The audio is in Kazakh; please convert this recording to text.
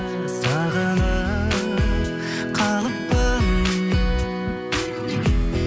сағынып қалыппын